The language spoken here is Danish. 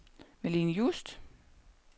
Malene Just